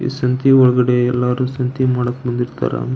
ಈ ಸಂತಿಯೊಳಗಡೇ ಎಲ್ಲರು ಸಂತೆ ಮಾಡಕೆ ಬಂದಿರ್ತಾರ.